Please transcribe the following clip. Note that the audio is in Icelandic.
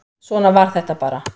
Svona var þetta bara.